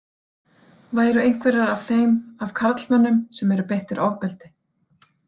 Væru einhverjar af þeim af karlmönnum sem eru beittir ofbeldi?